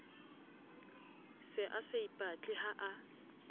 se a saipatle ha a